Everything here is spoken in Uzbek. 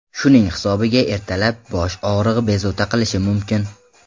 Shuning hisobiga ertalab bosh og‘rig‘i bezovta qilishi mumkin.